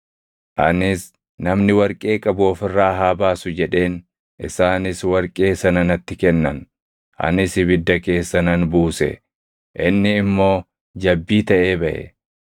Anis, ‘Namni warqee qabu of irraa haa baasu’ jedheen; isaanis warqee sana natti kennan; anis ibidda keessa nan buuse; inni immoo jabbii taʼee baʼe!”